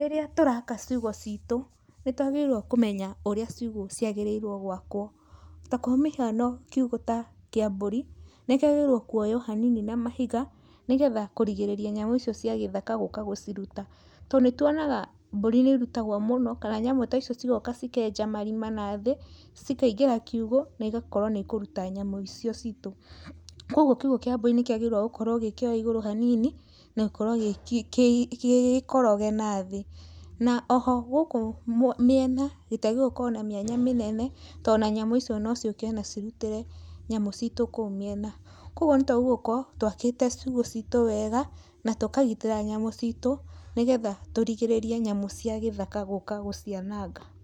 Rĩrĩa tũraka ciugũ ciitũ, nĩtwagĩrĩirwo kũmenya ũrĩa ciugũ ciagĩrĩirwo gwakwo. Ta kwamĩhiano kiugũ ta kia mbũri nĩkĩagĩrĩirwo kuoywo hanini na mahiga nĩgetha kũrigĩrĩrĩa nyamũ icio cia gĩthaka gũũka gũciruta, to nĩtuonaga mbũri nĩ irutagwo mũno, kana nyamũ ta icio cigoka cikenja marima nathĩ, cikaingĩra kiugũ na igakorwo nĩ ikũruta nyamũ icio ciitũ. Kwogwo kiugũ kia mbũri nĩ kĩagĩrĩirwo gũkorwo gĩkĩoye igũru hanini na gũkorwo gĩ gĩkoroge nathĩ. Na oho gũkũ mĩena gĩtiagĩrĩirwo gũkorwo na mĩanya mĩnene to na nyamũ icio no ciũke na cirutĩre nyamũ ciitũ kũu mĩena. Kwogwo nĩtwagũũ gũkorwo twakĩte ciugũ ciitũ wega, na tũkagitĩra nyamũ ciitũ, nĩgetha tũrigĩrĩrie nyamũ cia gĩthaka gũũka gũciananga.